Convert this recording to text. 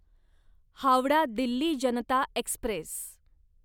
Howrah Delhi Janata Express